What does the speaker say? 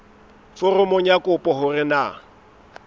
foromong ya kopo hore na